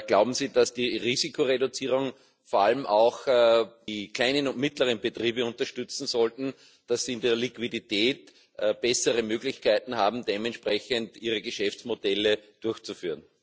Glauben Sie, dass die Risikoreduzierung vor allem auch die kleinen und mittleren Betriebe unterstützen sollte, damit sie in der Liquidität bessere Möglichkeiten haben, dementsprechend ihre Geschäftsmodelle durchzuführen?